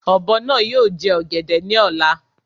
Ọ̀bọ náà ni yóò jẹ ọ̀gẹ̀dẹ̀ náà Lọ́la.